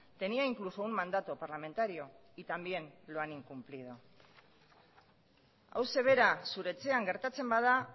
tenía incluso un mandato parlamentario y también lo han incumplido hauxe bera zure etxean gertatzen bada